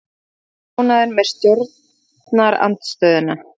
Fáir ánægðir með stjórnarandstöðuna